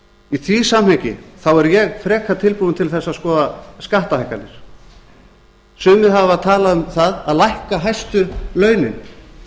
í því samhengi er ég frekar tilbúinn til þess að skoða skattahækkanir sumir hafa talað um að lækka hæstu launin